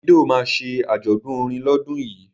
Davido ma ṣe àjọ̀dún orin lọ́dún yìí